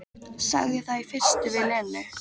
Sagði það í fyrstu við Lenu.